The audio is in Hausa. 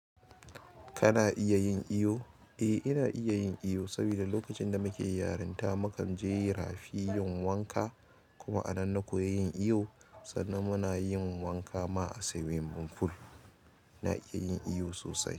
Kana iya yin iyo? Eh, ina iya yin iyo saboda lokacin da muke yarinta muka je rafi yin wanka. Kuma a nan na koyi yin iyo sannan muna yin wanka ma a swimming pool. Na iya yin iyo sosai.